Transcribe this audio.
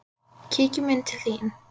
Kíkjum inn til þín